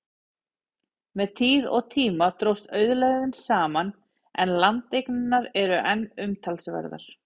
Með tíð og tíma dróst auðlegðin saman, en landareignirnar eru enn umtalsverðar.